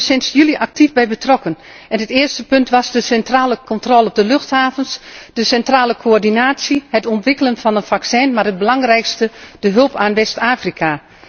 Ik ben hier sinds juli actief bij betrokken en het eerste punt was de centrale controle op de luchthavens, de centrale coördinatie, het ontwikkelen van een vaccin, maar het belangrijkste, de hulp aan West Afrika.